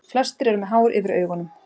Flestir eru með hár yfir augunum.